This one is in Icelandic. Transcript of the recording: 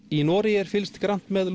í Noregi er fylgst grannt með